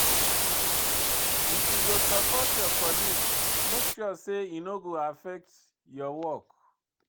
If you dey support your colleague, make sure sey e no go affect your work.